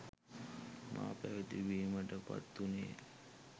මා පැවිදි බිමට පත් වුණේ